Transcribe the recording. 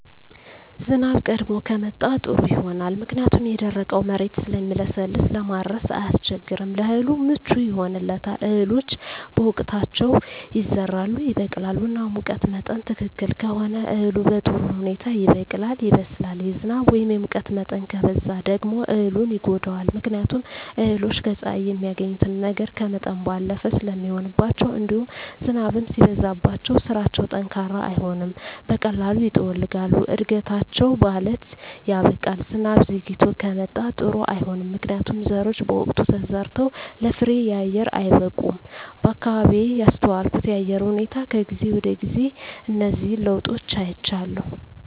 ዝናብ ቀድሞ ከመጣ ጥሩ ይሆናል ምክንያቱም የደረቀዉ መሬት ስለሚለሰልስ ለማረስ አያስቸግርም ለእህሉ ምቹ ይሆንለታል እህሎች በወቅታቸዉ ይዘራሉ ይበቅላሉ እና ሙቀት መጠን ትክክል ከሆነ እህሉ በጥሩ ሁኔታ ይበቅላል ይበስላል የዝናብ ወይም የሙቀት መጠን ከበዛ ደግሞ እህሉን ይጎዳዋል ምክንያቱም እህሎች ከፀሐይ የሚያገኙትን ነገር ከመጠን ባለፈ ስለሚሆንባቸዉእንዲሁም ዝናብም ሲበዛባቸዉ ስራቸዉ ጠንካራ አይሆንም በቀላሉ ይጠወልጋሉ እድገታቸዉ ባለት ያበቃል ዝናብ ዘይግቶ ከመጣም ጥሩ አይሆንም ምክንያቱም ዘሮች በወቅቱ ተዘርተዉ ለፍሬየአየር አይበቁም በአካባቢየ ያስተዋልኩት የአየር ሁኔታ ከጊዜ ወደጊዜ እነዚህን ለዉጦች አይቻለሁ